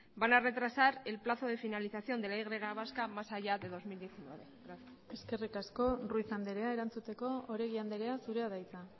van a retrasar el plazo de finalización de la y vasca más allá de dos mil diecinueve gracias eskerrik asko ruiz anderea erantzuteko oregi andrea zurea da hitza